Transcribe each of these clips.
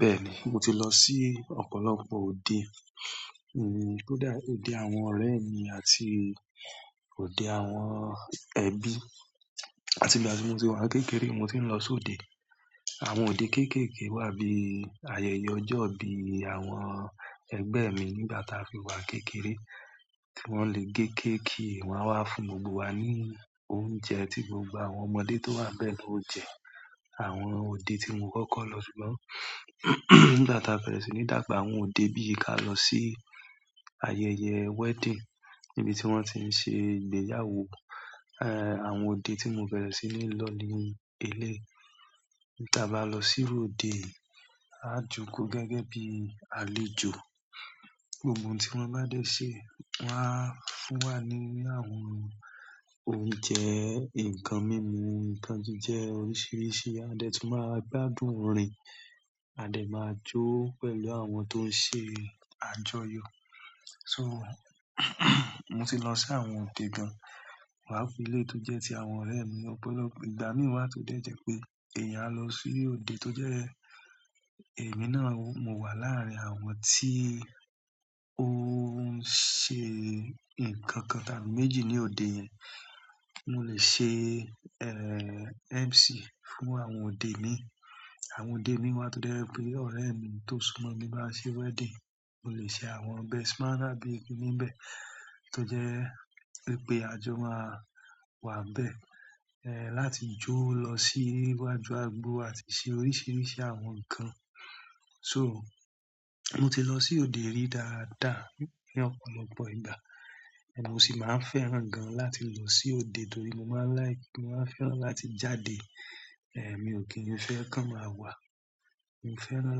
Bẹ́ẹ̀ ni, mo ti lọ sí ọ̀pọ̀lọpọ̀ òde, hmm, kódá-- òde àwọn ọ̀rẹ́ mi àti òde àwọn ẹbí. Àti ìgbà tí mo ti wà kékeré, mo ti ń lọ sí òde. Àwọn òde kéékèèké wà bí i ayẹyẹ ọjọ́ ìbí àwọn ẹgbẹ́ mi nígbà táa fi wà kékeré tí wọ́n le gé kéékí wọ́n wá fún gbogbo wa ní oúnjẹ tí gbogbo àwọn ọmọdé tó wà bẹ́ẹ̀ ni ó jẹ. Àwọn òde tí mo kọ́kọ́ lọ sí lọ́, nígbà táa fẹrẹ̀ẹ́ sí ní dàgbà, àwọn òde bí i kí á lọ sí ayẹyẹ wedding níbi tí wọ́n ti ń ṣe ìgbéyàwó, ẹ, àwọn òde tí mo bẹrẹ̀ẹ́ sí ní lọ́ ni ilé. Tí a bá lọ sí ru óde, a jókòó gẹ́gẹ́ bí i àlejò. Gbogbo n tí wọ́n bá dẹ́ ṣé, wọ́n á fún wa ní àwọn oúnjẹ, nǹkan mímu, nǹkan tó jẹ́ oríṣìíríṣìí, a dẹ́ tún máa gbádùn orin, a dẹ́ máa jó pẹ̀lú àwọn tó ń ṣe àjọyọ̀. So, mo ti lọ sí àwọn òde gan, pàápàá eléyìí tó jẹ́ ti àwọn ọ̀rẹ́ mi ọ̀pọ̀lọpọ̀ ìgbà. Mi wá tún dẹ́ jẹ́ pé èyàn á lọ sí òde tó jẹ́ èmi náà, mo wà láàrin àwọn tí ó ń ṣe nǹkan kan tàbí méjì ní òde yẹn. Mo lè ṣe MC fún àwọn odé mìí. Àwọn òde mi wá to dẹ́ jẹ pé ọ̀rẹ́ mi tó súmọ́ mi bá ṣe wedding, mo lè ṣe àwọn best man tàbí igun ibẹ̀ tó jẹ́ pé àjọ máa wà ń bẹ́ẹ̀, ẹ́, láti jó lọ sí níwájú agbo àti ṣe oríṣìíríṣìí àwọn nǹkan. So, mo ti lọ sí òde rí dáadáa ní ọ̀pọ̀lọpọ̀ ìgbà, èmi ò sì máa fẹ́ràn gan láti lọ sí òde torí mo máa láì-- mo máa fẹ́ràn láti jáde. Ẹ̀, mi ò kí n fẹ́ kan máa wà. Mi ò fẹ́ràn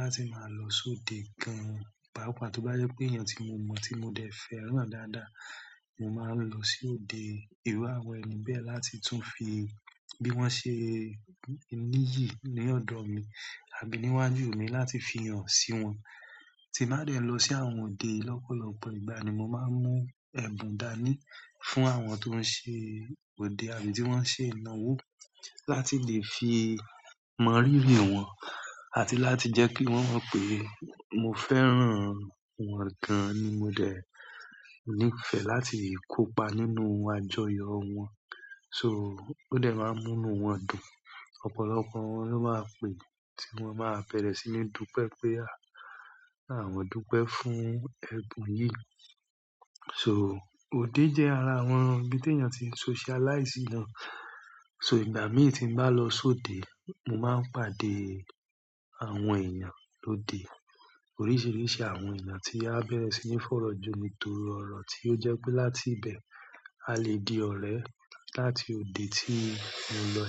láti máa lọ sí òde kan, pàápàá tó bá jẹ́ pé èèyàn tí mo mọ̀, tí mo dẹ́ fẹ́ràn dáadáa, mo máa ń lọ sí òde ìru áwọ̀n ẹni bẹ́ẹ̀ láti tún fi bí wọ́n ṣe níyì ní ọ̀dọ̀ mi àbí níwájú mi láti fi hàn sí wọn. Tí má dẹ́ lọ sí àwọn òde lọ́pọ̀lọpọ̀ ìgbà ni mo máa ń mú ẹ̀bùn dání fún àwọn tó ń ṣe òde àbí tí wọ́n ń ṣe ìnáwó láti lè fi mọ rírí wọ́n àti láti jẹ́ kí wọ́n mọ̀ pé mo fẹ́ràn wọn gan ni mo dẹ́ ní ìfẹ́ láti kópa nínú àjọyọ̀ wọn. So, ó dẹ máa ń múnu wọn dùn. Ọ̀pọ̀lọpọ̀ wọn ló máa pè tí wọ́n bá bẹrẹ̀ẹ́ sí mí, "Dúpẹ́ pé a, àwọn dúpẹ́ fún ẹbùn yìí." So, òde jẹ́ ara àwọn ibi ti èèyàn tí ń socialize náà. So ìgbà mìí tí n bá lọ sí òde, mo máa ń pàdé àwọn èèyàn lóde, oríṣìíríṣìí àwọn èèyàn tí a fẹ́rẹ̀ẹ́ sí ní fọ̀rọ̀jú mi torí ọ̀rọ̀ tí ó jẹ́ pé láti ibẹ̀, a lè di ọ̀rẹ́ láti òde tí mo lọ.